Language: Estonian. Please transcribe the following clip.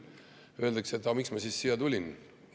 Selle peale küsitakse, et aga miks ma siis siia tulin.